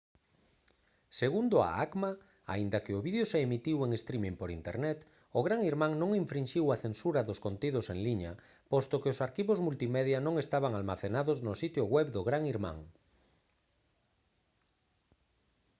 segundo a acma aínda que o vídeo se emitiu en streaming por internet o gran irmán non infrinxiu a censura dos contidos en liña posto que os arquivos multimedia non estaban almacenados no sitio web do gran irmán